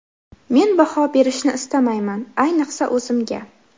Men baho berishni istamayman, ayniqsa o‘zimga.